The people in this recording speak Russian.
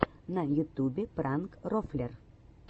на ютубе пранк рофлер